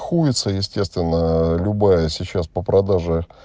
хуется естественно любая сейчас по продаже